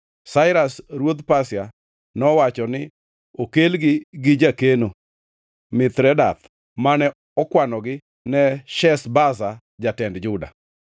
Sairas ruodh Pasia nowacho ni okelgi gi jakeno, Mithredath, mane okwanogi ne Sheshbaza jatend Juda.